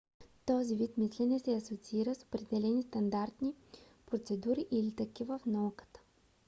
този вид мислене се асоциира с определени стандартни процедури или такива в науката